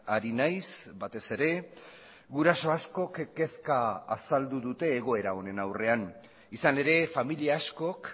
ari naiz batez ere guraso askok kezka azaldu dute egoera honen aurrean izan ere familia askok